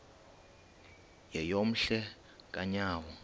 yeyom hle kanyawo